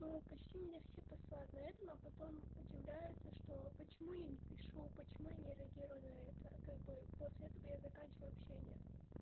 но почти меня все посылают на этом а потом удивляются что почему я не пишу почему я не реагирую на это как бы после этого я заканчиваю общения